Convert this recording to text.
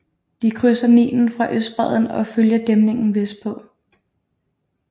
De krydser Nilen fra østbredden og følger dæmningen vestpå